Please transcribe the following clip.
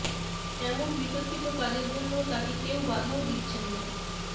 এমন বিতর্কিত কাজের জন্য তাকে কেউ বাধাও দিচ্ছেন না